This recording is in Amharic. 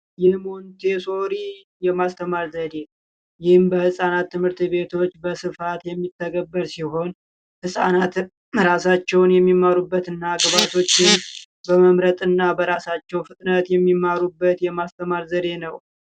የሞንቴሶሪ የማስተማሪያ ዘዲ: ይህም በህጻናት ት/ት ቤቶች በስፋት የሚተገበር ሲሆን ህጻናት ራሳቸዉን የሚመሩበት እና ግባታቸዉን በመምረጥ እና በራሳቸዉ ፍጥነት የሚማሩበት የማስተማሪያ ዘዴ ነዉ።